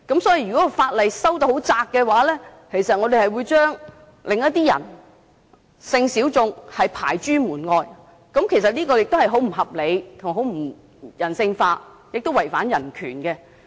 所以，如果法例的範圍訂得很狹窄的話，我們會將另一些人，即性小眾排諸門外，這是很不合理、不人性化，亦違犯人權。